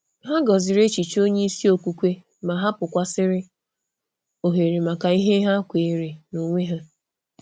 Hà gọ̀zìrì echiche onye isi okwukwe, ma hapụ̀kwasị̀rị́ ohere maka ihe ha kweere ha kweere n’onwe ha.